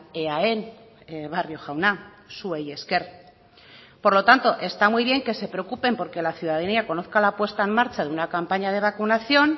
eaen barrio jauna zuei esker por lo tanto está muy bien que se preocupen porque la ciudadanía conozca la puesta en marcha de una campaña de vacunación